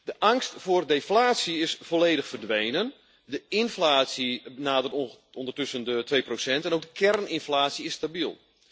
De angst voor deflatie is volledig verdwenen, de inflatie nadert ondertussen de twee procent en ook de kerninflatie is stabiel.